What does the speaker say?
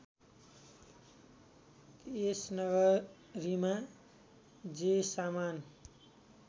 त्यस नगरीमा जे सामान